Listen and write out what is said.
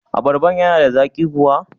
Abarban yana da zaƙi kuwa?